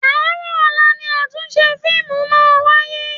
Àárọ̀ ọ̀la ni àtúnṣe fíìmù máa wáyé.